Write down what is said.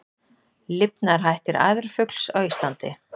Lifnaðarhættir æðarfugls á Íslandi